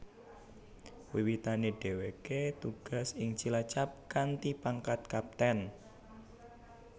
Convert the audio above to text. Wiwitane dheweke tugas ing Cilacap kanthi pangkat Kapten